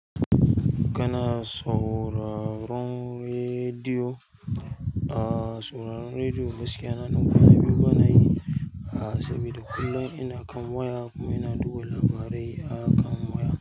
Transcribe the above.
Kana sauraron rediyo? Ah, sauraron rediyo gaskiya na ɗan kwana biyu bana yi a asibi da kullum ina kan waya kuma ina duba labarai akan waya.